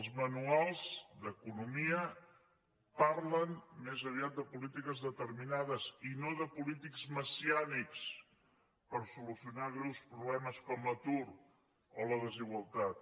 els manuals d’economia parlen més aviat de polítiques determinades i no de polítics messiànics per solucionar greus problemes com l’atur o la desigualtat